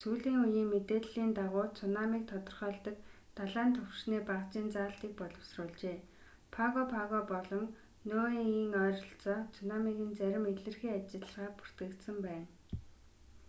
сүүлийн үеийн мэдээллийн дагуу цунамиг тодорхойлдог далайн түвшний багажийн заалтыг боловсруулжээ паго паго болон ниуегийн ойролцоо цунамигийн зарим илэрхий ажиллагаа бүртгэгдсэн байна